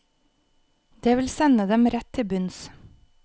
Det vil sende dem rett til bunns.